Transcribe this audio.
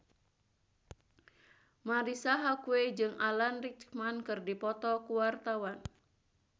Marisa Haque jeung Alan Rickman keur dipoto ku wartawan